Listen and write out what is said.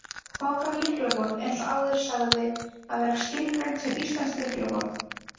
Þá þarf lyklaborðið, eins og áður sagði, að vera skilgreint sem íslenskt lyklaborð.